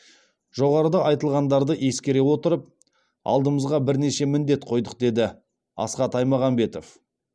жоғарыда айтылғандарды ескере отырып алдымызға бірнеше міндет қойдық деді асхат аймағамбетов